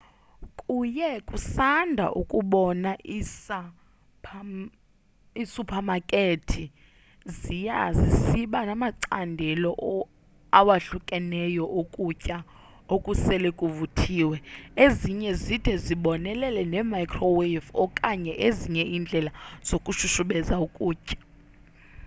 kuye kusanda ukubona iisuphamakethi ziya zisiba namacandelo awahlukahlukeneyo okutya okusele kuvuthiwe ezinye zide zibonelele ne-microwave okanye ezinye iindlela zokushushubeza ukutya